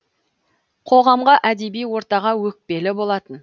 қоғамға әдеби ортаға өкпелі болатын